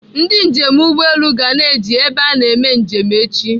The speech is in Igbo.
Ndị njem ụgbọelu ga na-eji ebe a eme njem echi.